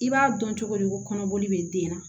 I b'a dɔn cogo di ko kɔnɔboli bɛ den na